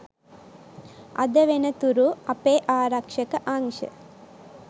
අද වෙනතුරු අපේ ආරක්ෂක අංශ